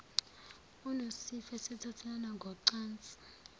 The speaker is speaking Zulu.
unesifo esithathelana ngocansi